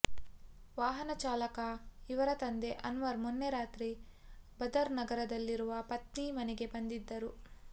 ವಾಹನ ಚಾಲಕ ಇವರ ತಂದೆ ಅನ್ವರ್ ಮೊನ್ನೆ ರಾತ್ರಿ ಬದರ್ ನಗರದಲ್ಲಿರುವ ಪತ್ನಿ ಮನೆಗೆ ಬಂದಿದ್ದರು